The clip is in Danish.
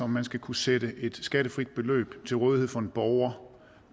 man skal kunne stille et skattefrit beløb til rådighed for en borger